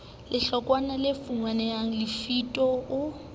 lehlokwana le finnweng lefito o